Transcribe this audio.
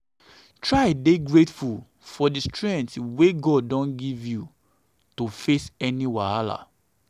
try dey grateful for di strength wey god don give you to um face any wahala.